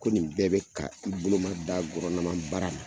Ko nin bɛɛ be ka i boloma da baara la.